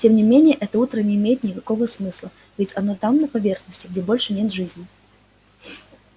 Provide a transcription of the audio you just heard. тем не менее это утро не имеет никакого смысла ведь оно там на поверхности где больше нет жизни